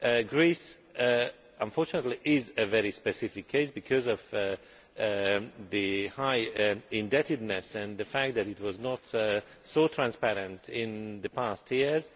Greece unfortunately is a very specific case because of the high indebtedness and the fact that it was not so transparent in the past years.